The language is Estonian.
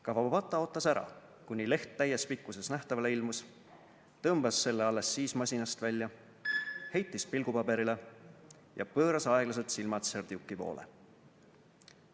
Kawabata ootas ära, kuni leht täies pikkuses nähtavale ilmus, tõmbas selle alles siis masinast välja, heitis pilgu paberile ja pööras aeglaselt silmad Serdjuki poole.